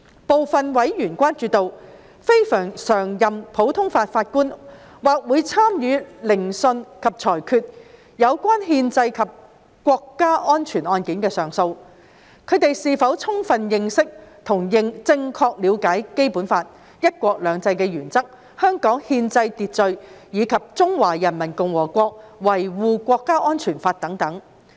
部分委員關注到，非常任普通法法官或會參與聆訊及裁決有關憲制或國家安全案件的上訴，他們是否充分認識和正確了解《基本法》、"一國兩制"原則、香港憲制秩序及《中華人民共和國香港特別行政區維護國家安全法》等。